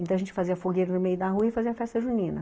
Então a gente fazia fogueira no meio da rua e fazia a festa junina.